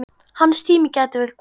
Hans tími gæti verið kominn.